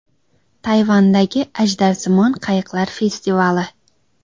Tayvandagi ajdarsimon qayiqlar festivali.